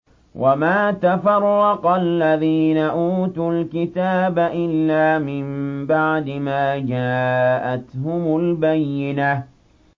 وَمَا تَفَرَّقَ الَّذِينَ أُوتُوا الْكِتَابَ إِلَّا مِن بَعْدِ مَا جَاءَتْهُمُ الْبَيِّنَةُ